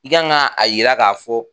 I kan ka a jira k'a fɔ